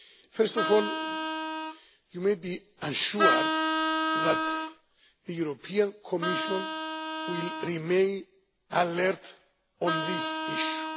First of all, you may be assured that the European Commission will remain alert on this issue.